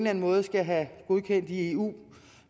anden måde skal have godkendt i eu